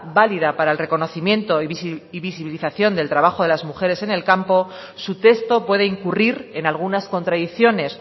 válida para el reconocimiento y visibilización del trabajo de las mujeres en el campo su texto puede incurrir en algunas contradicciones